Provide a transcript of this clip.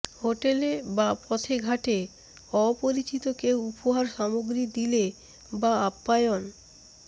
হোটেলে বা পথেঘাটে অপরিচিত কেউ উপহার সামগ্রী দিলে বা আপ্যায়ন